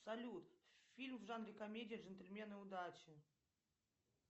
салют фильм в жанре комедия джентльмены удачи